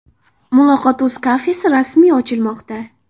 Muloqot.Uz kafesi rasmiy ochilmoqda.